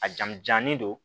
A jamu janlen don